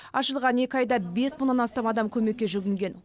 ашылған екі айда бес мыңнан астам адам көмекке жүгінген